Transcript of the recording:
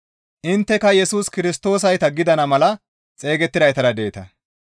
Intteka Yesus Kirstoosayta gidana mala xeygettidaytara deeta.